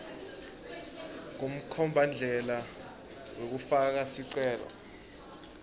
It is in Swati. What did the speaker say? kumkhombandlela wekufaka sicelo